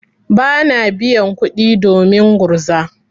Bana biyan kuɗi domin gurza.